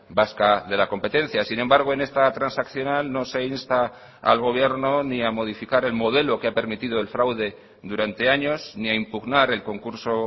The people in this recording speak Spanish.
vasca de la competencia sin embargo en esta transaccional no se insta al gobierno ni a modificar el modelo que ha permitido el fraude durante años ni a impugnar el concurso